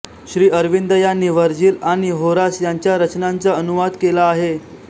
श्रीअरविंद यांनी व्हर्जिल आणि होरास यांच्या रचनांचा अनुवाद केला आहे